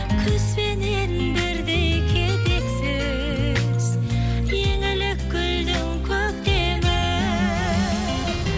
күзбенен бірдей кетерсіз еңілік гүлдің көктемі